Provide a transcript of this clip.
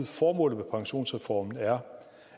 formålet med pensionsreformen er